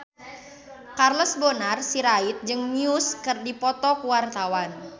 Charles Bonar Sirait jeung Muse keur dipoto ku wartawan